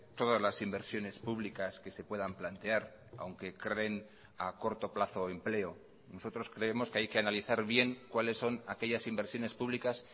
todas las inversiones públicas que se puedan plantear aunque creen a corto plazo empleo nosotros creemos que hay que analizar bien cuáles son aquellas inversiones públicas